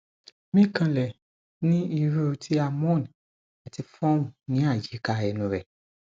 mi kanlẹ ní irú ti a moan ati form ni ayika ẹnu rẹ